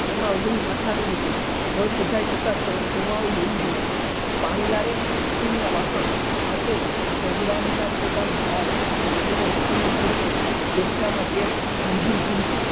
એમાં વહુ માથા ની નીકળી ઘર હમેશા સવાનું હોવું જોઈએ પાણિયારે ઈ સ્ટીલ ના વાસણ માથે ભગવાન ના ફોટા ની હાર ઓસની માં ઈ સ્ટીલ ની ખુરશી ગોખલા માં tap રંગીન ટીવી